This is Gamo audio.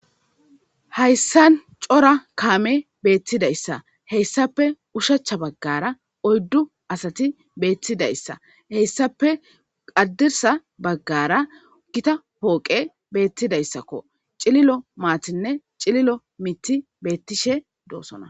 Hayssan cora kaame beettidayssa heyssape ushacha baggara oyddu asati beettidayssa heyssape qadirsa baggara gita pooqe beettidayssakko cililo maatinne cililo mitti beettishe doosona.